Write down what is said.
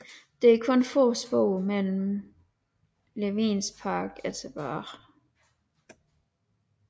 Der er kun få spor fra Levins park er tilbage